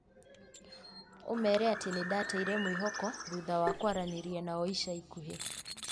ũmeere atĩ nĩ ndateire mwĩhoko thuthawa kwaranĩria nao ica ikuhĩ.